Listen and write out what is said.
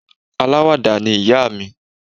Aláwàdà ni ìyá mi